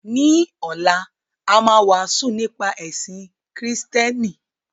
Ní ọ̀la, a máa wàásù nípa ẹ̀sìn Kristẹni.